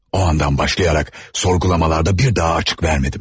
O andan başlayaraq sorgulamalarda bir daha açık vermədim.